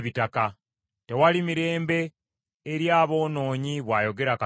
“Tewali mirembe, eri aboonoonyi,” bw’ayogera Katonda wange.